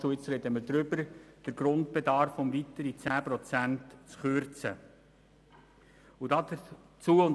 Jetzt sprechen wir darüber, den Grundbedarf um weitere 10 Prozent zu kürzen.